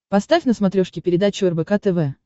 поставь на смотрешке передачу рбк тв